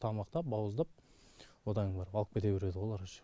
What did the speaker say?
тамақтап бауыздап одан кейін барып алып кете бередіғо олар уже